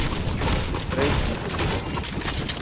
Prej in potem.